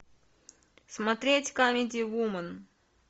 смотреть камеди вумен